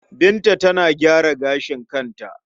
Binta tana gyara gashin kanta.